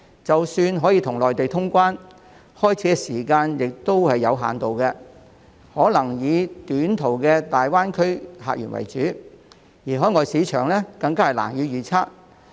即使香港可以與內地通關，開始時旅遊業務也有限度，可能只能以短途的大灣區客源為主，海外市場更加難以預測。